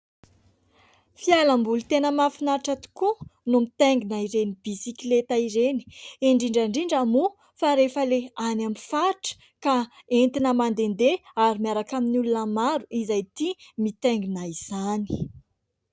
Fialamboly tena mahafinatra tokoa ny mitaingina ireny bisikileta ireny indrindra indrindra moa fa rehefa ilay any amin'ny faritra ka entina mandehandeha ary miaraka amin'ny olona maro izay tia mitaingina izany.